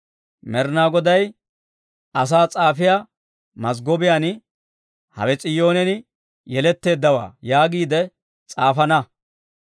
Med'inaa Goday asaa s'aafiyaa mazggobiyaan, «Hawe S'iyoonen Yeletteeddawaa» yaagiide s'aafana.